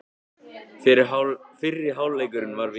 Fyrri hálfleikurinn var virkilega.